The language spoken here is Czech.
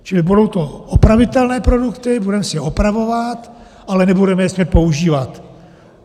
Čili budou to opravitelné produkty, budeme si je opravovat, ale nebudeme je smět používat.